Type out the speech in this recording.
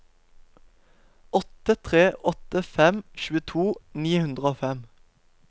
åtte tre åtte fem tjueto ni hundre og fem